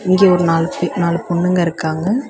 இங்க ஒரு நாலு பே நாலு பொண்ணுங்க இருக்காங்க.